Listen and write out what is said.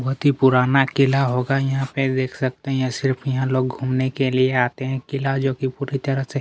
बोहत ही पुराना किला होगा यहाँ पे देख सकते है ये सब यहाँ लोग घुमने के लिए आते है किला जो कि पुरी तरह से--